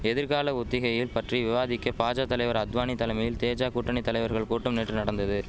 எதிர்கால ஒத்திகையில் பற்றி விவாதிக்க பாஜா தலைவர் அத்வானி தலமையில் தேஜா கூட்டணி தலைவர்கள் கூட்டம் நேற்று நடந்தது